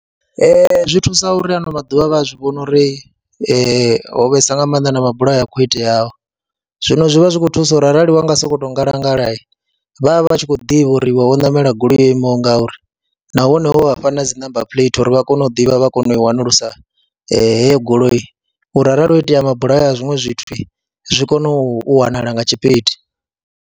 Ee, zwi thusa uri ano maḓuvha vha a zwi vhoni uri ho vhesa nga maanḓa na mabulayo a khou iteaho, zwino zwi vha zwi khou thusa uri arali wa nga sokou ngalangala vha vha vha tshi khou ḓivha uri wo ṋamela goloi yo imaho nga uri nahone wo vha fha na dzi namba phuleithi uri vha kone u ḓivha, vha kone u wanulusa heyo goloi uri arali ho itea mabulayo a zwiṅwe zwithu zwi kone u wanala nga tshipidi.